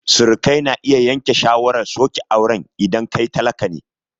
Surukai na iya yanke shawarar soke auren idan kai talaka ne